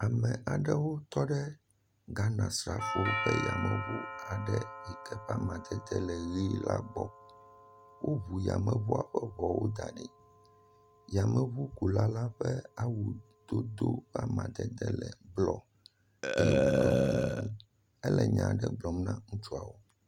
ame aɖewo tɔ ɖe Ghana srafowo ƒe yameʋu yike ƒe amadede le ɣi la gbɔ wó ʋu yameʋua ƒe ʋɔwo daɖi yameʋukula la ƒe awu yi wodó ƒe amadede le blɔ ye woɖɔ kuku ele nyaɖe gblɔm na ŋutsua